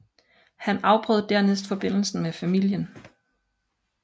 Han afbrød dernæst forbindelsen med familien